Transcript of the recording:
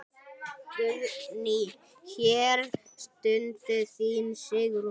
Guðný: Hér stendur þín Sigrún?